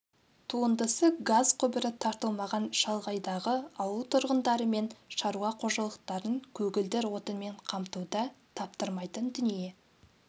туындысы газ құбыры тартылмаған шалғайдағы ауыл тұрғындары мен шаруа қожалықтарын көгілдір отынмен қамтуда таптырмайтын дүние